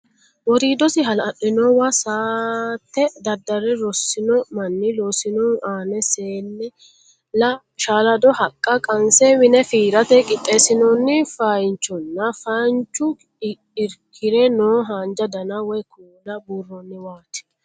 Woriidosi hala'linowa saatte daddarre rosino manni loosinohu aana seela shalado haqqa qanse mine fiirate qixxeessinoonni feeyaanchonna feeyanchu irkire noo haanja dana woy kuula buurroonniwaati.